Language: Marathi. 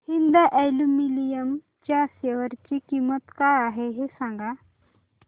हिंद अॅल्युमिनियम च्या शेअर ची किंमत काय आहे हे सांगा